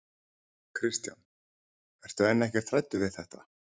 Kristján: En ertu ekkert hræddur við þetta?